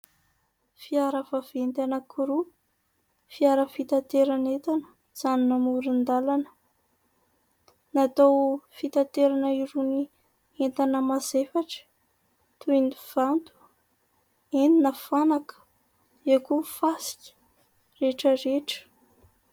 Fiara vaventy roa , izay natokana ho fitaterana entana, izay miantsona amoryn-dalana .Natao hitaterana irony entana mazefatra ,tohy ny vato eny na fanaka iany koa . Ary ireny fiataovana izay entina anamboarana trano ireny.